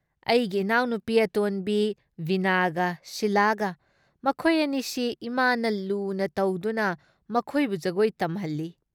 ꯑꯩꯒꯤ ꯏꯅꯥꯎꯅꯨꯄꯤ ꯑꯇꯣꯟꯕꯤ ꯕꯤꯅꯥꯒ ꯁꯤꯂꯥꯒ ꯃꯈꯣꯏ ꯑꯅꯤꯁꯤ ꯏꯃꯥꯅ ꯂꯨꯅ ꯇꯧꯗꯨꯅ ꯃꯈꯣꯏꯕꯨ ꯖꯒꯣꯏ ꯇꯝꯍꯜꯂꯤ ꯫